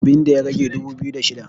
abinda ya rage dubu biyu da shida